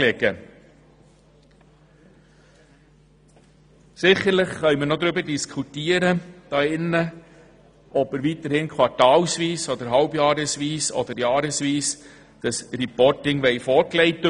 Sicherlich können wir noch darüber diskutieren, ob wir das Reporting quartalsweise, halbjährlich oder jährlich erhalten wollen.